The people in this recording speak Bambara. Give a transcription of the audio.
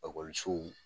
Ekɔlisow